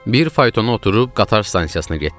Bir faytona oturub qatar stansiyasına getdik.